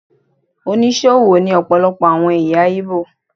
Onísòwò ni ọpọlọpọ àwọn ẹ̀yà Ìgbò.